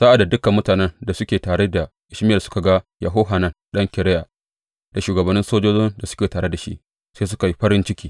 Sa’ad da dukan mutanen da suke tare da Ishmayel suka ga Yohanan ɗan Kareya da shugabannin sojojin da suke tare da shi, sai suka yi farin ciki.